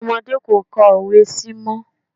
Àwọn ọmọdé kò ka òwe sí mọ́.